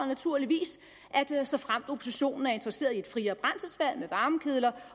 naturligvis såfremt oppositionen er interesseret i et friere brændselsvalg med varmekedler